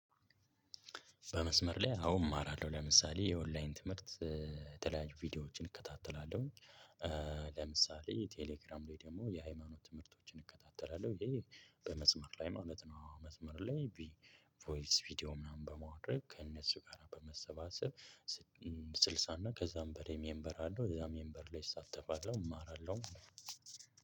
በመስመር ላይ አሁን እማራለሁ ለምሳሌ የኦንላይን ትምህርት የተለያይ ቪዲዮዎችን እከታተላለሁኝ። ለምሳሌ ቴሌግራም ላይ ደግሞ የሃይማኖት ትምህርቶችን እከታተላለሁ። ይሄ በመስመር ላይ ማለት ነው። መስመር ላይ ቮይስ ቪዲዮ ምናምን በማድረግ ከእነሱ ጋራ በመሰባሰብ። ስልሳ እና ከዛም በላይ ሜምበር አለው እዛ ሜምበር ላይ እሳተፋለሁ። እማራለሁ